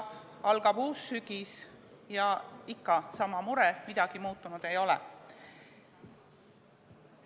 Algab uus sügis – ja ikka sama mure, midagi muutunud ei ole.